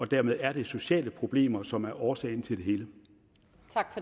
dermed er det sociale problemer som er årsagen til